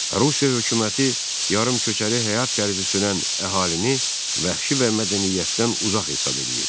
Rusiya hökuməti yarımköçəri həyat tərzi sürən əhalini vəhşi və mədəniyyətdən uzaq hesab eləyir.